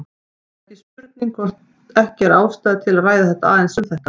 Það er spurning hvort ekki er ástæða til að ræða aðeins um þetta.